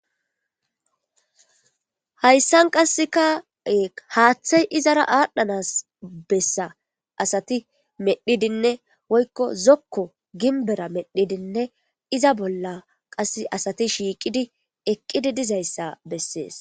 hayssan qasseka e haaththay izara aadhdhanas bessa asati medhidinne woykko zokko ginbera medhidinne iza bolla qas asati shiiqidi eqqidi dizayssa bessees